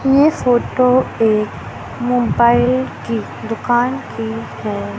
ये फोटो एक मोबाइल की दुकान की है।